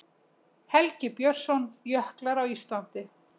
Helgi Björnsson, Jöklar á Íslandi.